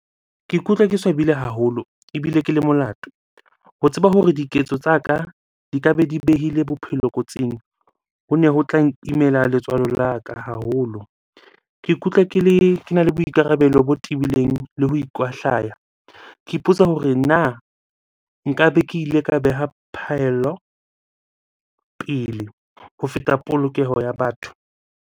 Ke ikutlwa ke swabile haholo ebile ke le molato. Ho tseba hore diketso tsa ka di ka be di behile bophelo kotsing. Hone ho tlang imela letswalo la ka haholo. Ke ikutlwa ke le, kena le boikarabelo bo tibileng le ho ikwahlaya. Ke ipotsa hore na nka be ke ile ka beha phaello pele ho feta polokeho ya batho?